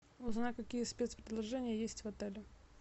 узнай какие спецпредложения есть в отеле